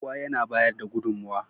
Kowa ya bayar da gudunmowa.